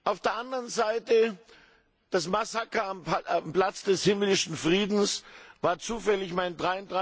Auf der anderen Seite Das Massaker am Platz des Himmlischen Friedens war zufällig an meinem